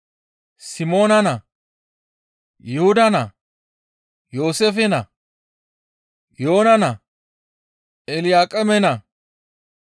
Simoona naa, Yuhuda naa, Yooseefe naa, Yoona naa, Elyaaqeeme naa,